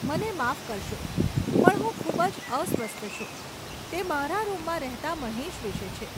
મને માફ કરશો પણ હું ખૂબ જ અસ્વસ્થ છું, તે મારા રૂમમાં રહેતાં મહેશ વિશે છે.